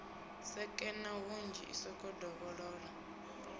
sekena hunzhi i sokou dovholola